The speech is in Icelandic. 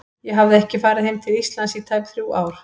Ég hafði ekki farið heim til Íslands í tæp þrjú ár.